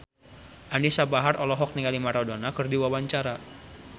Anisa Bahar olohok ningali Maradona keur diwawancara